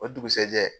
O dugusajɛ